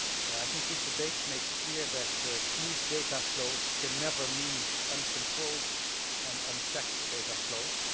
I think this debate makes clear that smooth data flows can never mean uncontrolled and unchecked data flows.